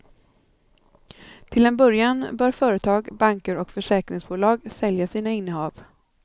Till en början bör företag, banker och försäkringsbolag sälja sina innehav.